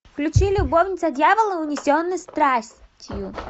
включи любовница дьявола унесенные страстью